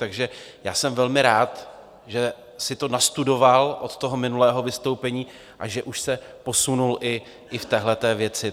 Takže já jsem velmi rád, že si to nastudoval od toho minulého vystoupení a že už se posunul i v téhle věci.